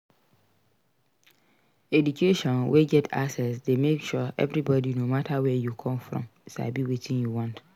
Education wey get access de make sure everybody no matter where you come from sabi wetin you want